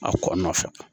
A kɔ nɔfɛ